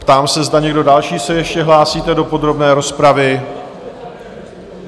Ptám se, zda někdo další se ještě hlásíte do podrobné rozpravy?